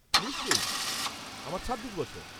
নিশ্চয়ই, আমার ছাব্বিশ বছর।